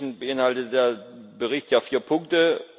Im Wesentlichen beinhaltet der Bericht ja vier Punkte.